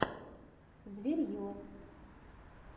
зверье